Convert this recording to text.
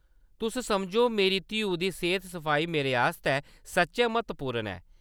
तुस समझो, मेरी धीऊ दी सेह्‌त-सफाई मेरे आस्तै सच्चैं म्हत्वपूर्ण ऐ।